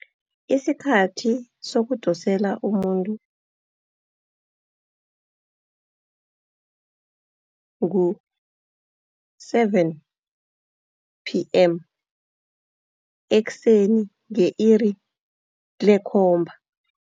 Isikhathi sokudosela umuntu ngu-seven pm. Ekuseni nge-iri lekhomba.